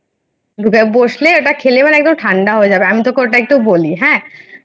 বসলে ওটা খেলে মানে একদম ঠান্ডা হয়ে যায় আমি পুরোটা বলি হ্যাঁ,